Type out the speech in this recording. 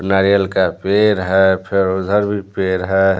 नारियल का पेड़ है फिर उधर भी पेड़ है।